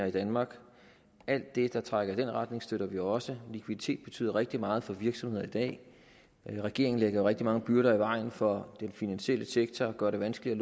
i danmark alt det der trækker i den retning støtter vi også likviditet betyder rigtig meget for virksomheder i dag regeringen lægger rigtig mange byrder i vejen for den finansielle sektor og gør det vanskeligt